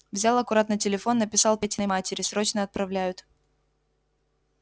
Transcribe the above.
взял аккуратно телефон написал петиной матери срочно отправляют